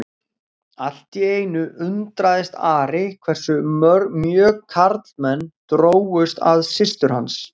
Allt í einu undraðist Ari hversu mjög karlmenn drógust að systur hans.